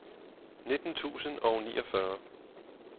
nitten tusind og niogfyrre